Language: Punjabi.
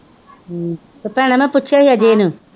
ਭੈਣੇ ਮੈ ਪੁੱਛਿਆ ਸੀ ਅਜੇ ਏਨੁ,